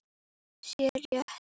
sé rétt.